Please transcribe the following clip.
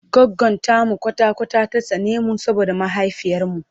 goggon tamu kwata kwata ta tsane mu saboda mahaifiyar mu